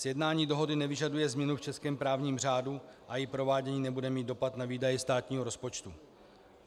Sjednání dohody nevyžaduje změnu v českém právním řádu a její provádění nebude mít dopad na výdaje státního rozpočtu.